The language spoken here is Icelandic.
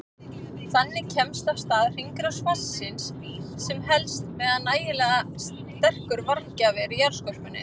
Þannig kemst af stað hringrás vatnsins sem helst meðan nægilega sterkur varmagjafi er í jarðskorpunni.